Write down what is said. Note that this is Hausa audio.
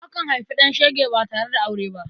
Akan haifi ɗan shege ba tare da aure ba.